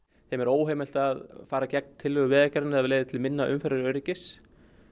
þeim er óheimilt að fara gegn tillögu Vegagerðarinnar leiði það til minna umferðaröryggis